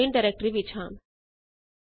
ਹੁਣ ਅਸੀਂ bin directory ਵਿੱਚ ਹਾਂ